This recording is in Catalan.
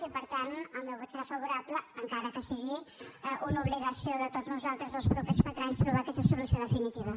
i per tant el meu vot serà favorable encara que sigui una obligació de tots nosaltres els propers quatre anys trobar hi aquesta solució definitiva